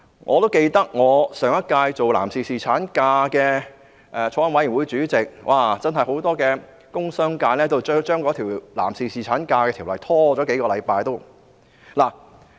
我上屆擔任有關男士侍產假的法案委員會主席，我記得很多工商界人士都希望將那項實施男士侍產假的條例拖延。